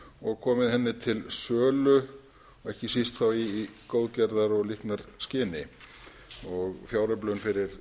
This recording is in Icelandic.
og komið henni til sölu og ekki síst þá í góðgerðar og líknarskyni og fjáröflun fyrir